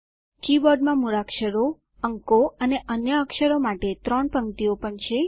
કીબોર્ડમાં મૂળાક્ષરો અંકો અને અન્ય અક્ષરો માટે ત્રણ પંક્તિઓ પણ છે